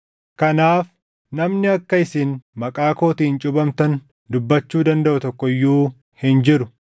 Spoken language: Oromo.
Kanaaf namni akka isin maqaa kootiin cuuphamtan dubbachuu dandaʼu tokko iyyuu hin jiru.